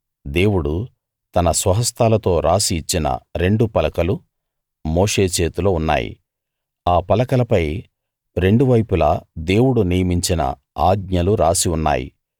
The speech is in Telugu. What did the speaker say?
దేవుడు తన స్వహస్తాలతో రాసి ఇచ్చిన రెండు పలకలు మోషే చేతిలో ఉన్నాయి ఆ పలకలపై రెండువైపులా దేవుడు నియమించిన ఆజ్ఞలు రాసి ఉన్నాయి